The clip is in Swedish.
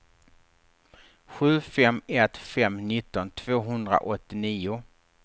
sju fem ett fem nitton tvåhundraåttionio